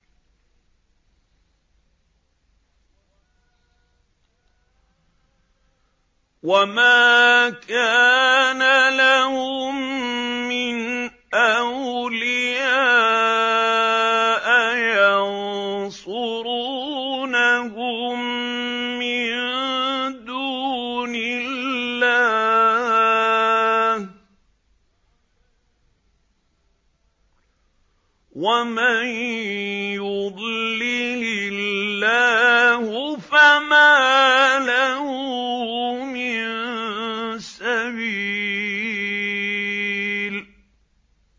وَمَا كَانَ لَهُم مِّنْ أَوْلِيَاءَ يَنصُرُونَهُم مِّن دُونِ اللَّهِ ۗ وَمَن يُضْلِلِ اللَّهُ فَمَا لَهُ مِن سَبِيلٍ